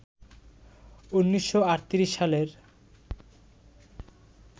১৯৩৮ সালের